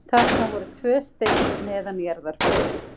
Þarna voru tvö steypt neðanjarðarbyrgi.